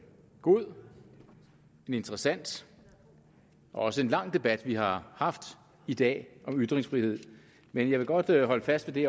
god en interessant og også en lang debat vi har haft i dag om ytringsfrihed men jeg vil godt holde fast ved